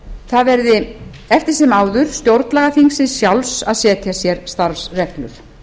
það verði eftir sem áður stjórnlagaþingsins sjálfs að setja sér starfsreglur